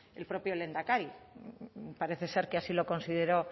el propio lehendakari parece ser que así lo consideró